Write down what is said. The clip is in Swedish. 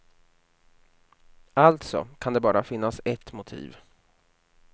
Alltså kan det bara finnas ett motiv.